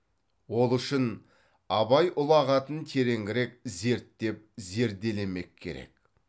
ол үшін абай ұлағатын тереңірек зерттеп зерделемек керек